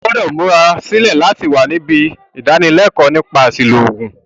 O gbúdò múra sílẹ̀ láti wa nibí ìdánilékóò nípa àsìlò ògùn